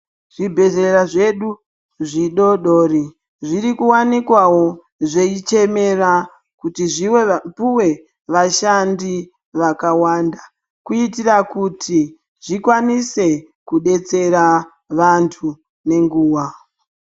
Zvibhedhlera zvedu zvidoodori zviri kuwanikwawo zveichemera kuti zvipuwe vashandi vakawanda kuitira kuti zvikwanise kudetsera vanthu nenguwa.